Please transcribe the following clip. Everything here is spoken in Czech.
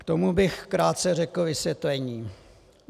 K tomu bych krátce řekl vysvětlení.